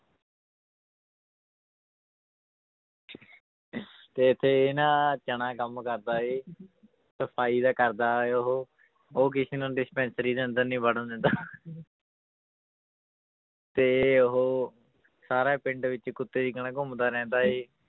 ਤੇ ਇੱਥੇ ਇਹ ਨਾ ਚਣਾ ਕੰਮ ਕਰਦਾ ਹੈ ਸਫ਼ਾਈ ਦਾ ਕਰਦਾ ਹੈ ਉਹ ਉਹ ਕਿਸੇ ਨੂੰ dispensary ਦੇ ਅੰਦਰ ਨਹੀਂ ਵੜਨ ਦਿੰਦਾ ਤੇ ਉਹ ਸਾਰਾ ਪਿੰਡ ਵਿੱਚ ਕੁੱਤੇ ਦੀ ਤਰ੍ਹਾਂ ਘੁੰਮਦਾ ਰਹਿੰਦਾ ਹੈ